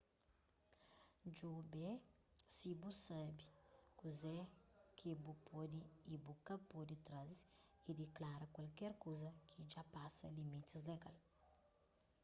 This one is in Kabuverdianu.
djobe si bu sabe kuze ki bu pode y bu ka pode traze y diklara kualker kuza ki dja pasa limitis legal